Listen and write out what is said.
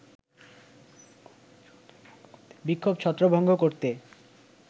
বিক্ষোভ ছত্রভঙ্গ করতে